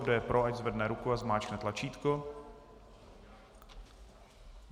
Kdo je pro, ať zvedne ruku a zmáčkne tlačítko.